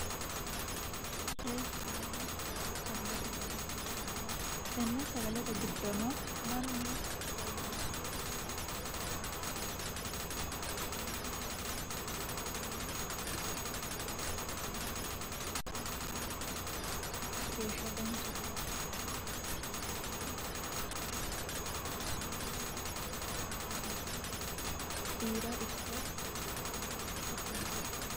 sagalete dani lowo sagalete dani hee'ranna tenne sagalete giddono mannu beyyeenete maala timaadume tesagale hattono babbaxxitino sagalete dana itanno yaate kunnirano sagale lowo geeshsha dancha tehatte sagale ite kairono mannu babbaxxitinoha koka mirinda biira ikko babbaxxitino agattote dani horoonsi'ranno.